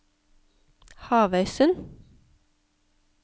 Havøysund